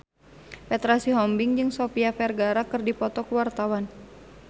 Petra Sihombing jeung Sofia Vergara keur dipoto ku wartawan